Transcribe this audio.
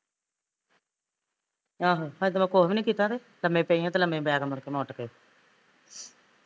ਆਹੋ ਹਜੇ ਤੇ ਮੈਂ ਕੁਸ਼ ਵੀ ਨੀ ਕੀਤਾ ਤੇ ਲਮੇ ਪਏ ਆ ਤੇ ਲਮੇ ਪੈ ਕੇ ਮੁੜ ਕੇ ਨੂੰ ਉਠ ਕੇ